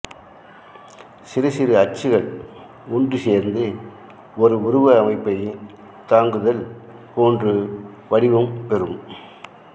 சிறுசிறு அச்சுகள் ஒன்று சேர்ந்து ஒரு உருவ அமைப்பைத் தாங்குதல் போன்று வடிவம் பெறும்